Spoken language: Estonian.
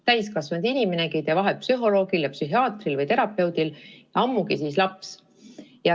Täiskasvanud inimenegi ei tee vahet psühholoogil ja psühhiaatril või terapeudil, ammugi siis laps.